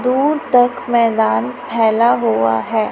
दूर तक मैदान फैला हुआ है।